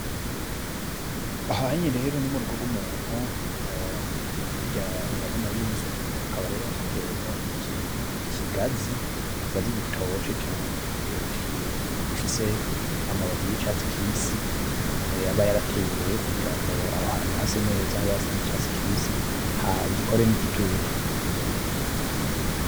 Aha rero ni mu rugo rw’umuntu, hirya urabonayo inzu hakaba hatewemwo ikigazi, ikigazi gitoshe cane gifise amababi y’icatsi kibisi aba yarateye rero kugira ngo aho hantu hase neza, hase nk’icatsi kibisi , gikore n’igitutu.